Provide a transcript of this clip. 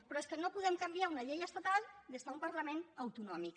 però és que no podem canviar una llei estatal des d’un parlament autonòmic